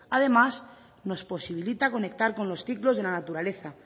además nos posibilita conectar con los ciclos de la naturaleza